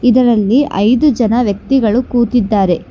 ಇದರಲ್ಲಿ ಐದು ಜನ ವ್ಯಕ್ತಿಗಳು ಕೂತಿದ್ದಾರೆ.